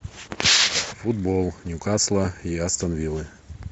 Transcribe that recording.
футбол ньюкасла и астон виллы